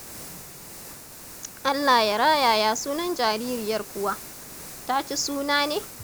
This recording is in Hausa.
Allah ya raya ya sunan jaririyar kuwa? Ta ci suna ne?